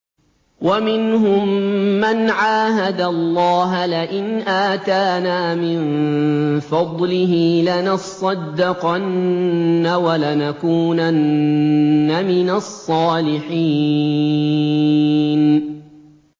۞ وَمِنْهُم مَّنْ عَاهَدَ اللَّهَ لَئِنْ آتَانَا مِن فَضْلِهِ لَنَصَّدَّقَنَّ وَلَنَكُونَنَّ مِنَ الصَّالِحِينَ